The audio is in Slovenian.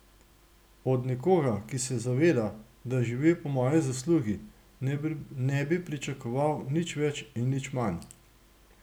Od nekoga, ki se zaveda, da živi po moji zaslugi, ne bi pričakoval nič več in nič manj.